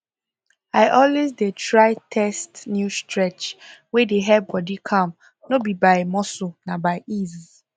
i always dey try test new stretch wey dey help body calm no be by muscle na by ease